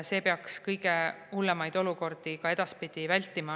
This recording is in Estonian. See peaks kõige hullemaid olukordi edaspidi vältima.